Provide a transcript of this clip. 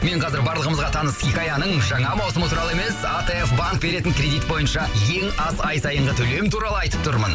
мен қазір барлығымызға таныс хикаяның жаңа маусымы туралы емес атф банк беретін кредит бойынша ең аз ай сайынғы төлем туралы айтып тұрмын